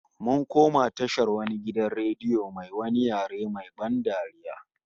Mun kamo tashar wani gidan radio mai wani yare main ban dariya